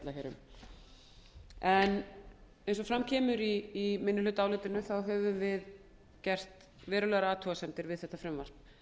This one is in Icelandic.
hér um eins og fram kemur í minnihlutaálitinu höfum við gert verulegar athugasemdir við þetta frumvarp